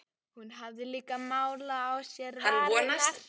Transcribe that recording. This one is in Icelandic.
Hún hafði líka málað á sér varirnar.